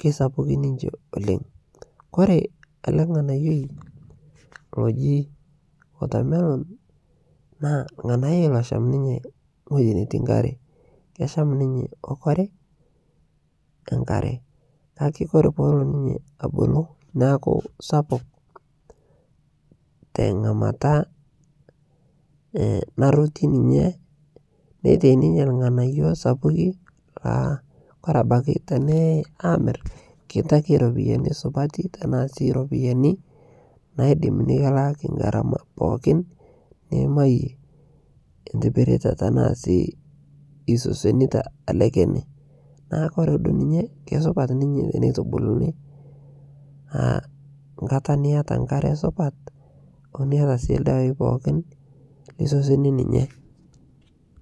keisapukii ninjee oleng kore alee nghanayoi lojii watermelon naa lghanayoi losham ninyee nghojii netii nkaree, kesham ninye okoree ee nkaree kakee kore poolo ninyee abuluu naaku sapuk te nghamataa nawokii ninyee neitai ninyee lghanayo sapukii aa kore abakii teneyai amir kintakii ropiyani supatii tanaa sii ropiyanii naidim nikilaaki nkarama pooki niimaye intibirita tanaa sii isosonitaa alee kenii. Naaku kore duo ninyee keisupat ninyee teneitubulunii aa nkataa niataa nkaree supat oo niata sii ldawai pooki lisosonie ninyee.